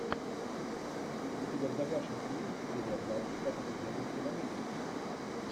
у тебя в загашнике есть серия двадцать как это делается в америке